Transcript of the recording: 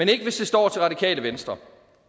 det ikke hvis det står til radikale venstre